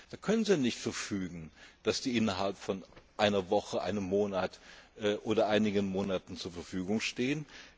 auch. Da können Sie nicht verfügen, dass die innerhalb von einer Woche, einem oder einigen Monaten zur Verfügung stehen.